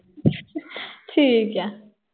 ਠੀਕ ਆ।